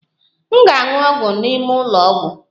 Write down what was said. M ga-aṅụ ọgwụ m n'ụlọ ọgwụ